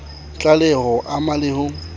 tlaleho ho ama le ho